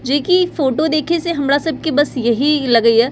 जे कि फोटो देखे से हमरा सब के बस यही लगे या --